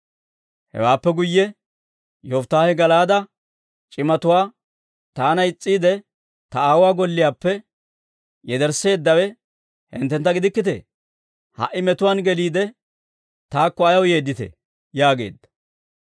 Hewaappe guyye Yofittaahe Gala'aade c'imatuwaa, «Taana is's'iide, ta aawuwaa golliyaappe yedersseeddawe hinttentta gidikkitee? Ha"i metuwaan geliide, taakko ayaw yeedditee?» yaageedda.